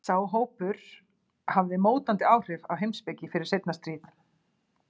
sá hópur hafði mótandi áhrif á heimspeki fyrir seinna stríð